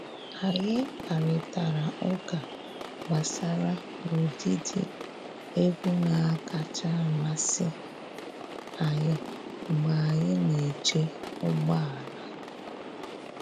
Anyị kparịtara ụka gbasara ụdịdị egwu na-akacha amasị anyị mgbe anyị na-eche ụgbọ ala.